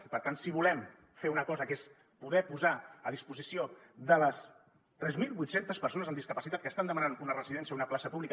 i per tant si volem fer una cosa que és poder posar a disposició de les tres mil vuit cents persones amb discapacitat que estan demanant una residència o una plaça pública